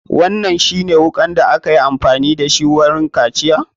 Wannan shi ne wukan da akayi amfani da shi wa kaciyan?